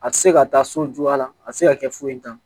A tɛ se ka taa so juya la a tɛ se ka kɛ foyi t'a la